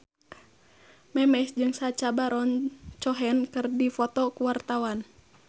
Memes jeung Sacha Baron Cohen keur dipoto ku wartawan